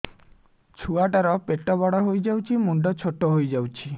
ଛୁଆ ଟା ର ପେଟ ବଡ ହେଇଯାଉଛି ମୁଣ୍ଡ ଛୋଟ ହେଇଯାଉଛି